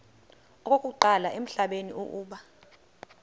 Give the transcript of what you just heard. okokuqala emhlabeni uba